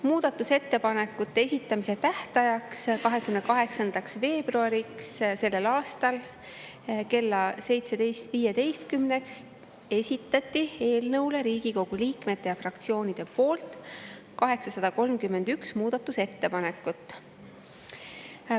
Muudatusettepanekute esitamise tähtajaks, 28. veebruariks kella 17.15-ks esitasid Riigikogu liikmed ja fraktsioonid 831 muudatusettepanekut.